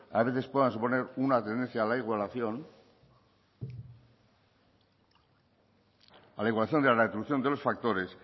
a veces puedan suponer una tendencia a la igualación a la igualación de reproducción de los factores